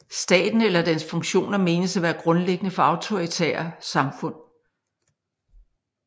Staten eller dens funktioner menes at være grundlæggende for autoritære samfund